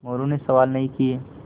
मोरू ने सवाल नहीं किये